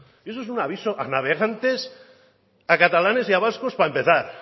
y eso es un aviso a navegantes a catalanes y a vascos para empezar